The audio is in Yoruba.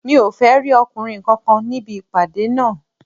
Mi ò fẹ́ rí ọkùnrin kankan níbì ìpàdé náà